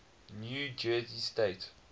new jersey state